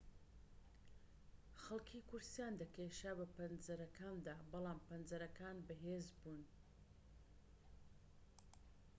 خەڵکی کورسییان دەکێشا بە پەنجەرەکاندا بەڵام پەنجەرەکان بەهێز بوون